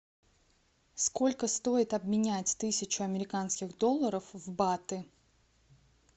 сколько стоит обменять тысячу американских долларов в баты